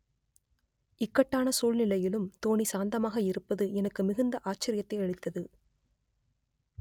இக்கட்டான சூழ்நிலையிலும் தோனி சாந்தமாக இருப்பது எனக்கு மிகுந்த ஆச்சரியத்தை அளித்தது